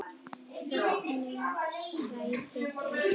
Þögnin ræður ein.